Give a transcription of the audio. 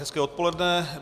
Hezké odpoledne.